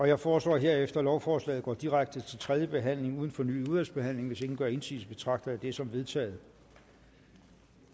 jeg foreslår herefter at lovforslaget går direkte til tredje behandling uden fornyet udvalgsbehandling hvis ingen gør indsigelse betragter jeg det som vedtaget